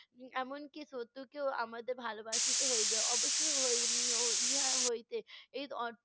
এমনকি শত্রুকেও আমাদের ভালোবাসিতে হইবে। অবশ্যই হই~ উম ইহা হইতে এই